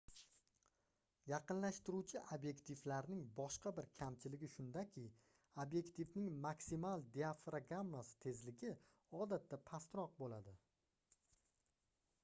yaqinlashtiruvchi obyektivlarning boshqa bir kamchiligi shundaki obyektivning maksimal diafragmasi tezligi odatda pastroq bo'ladi